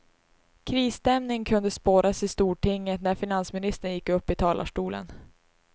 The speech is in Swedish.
Krisstämning kunde spåras i stortinget när finansministern gick upp i talarstolen.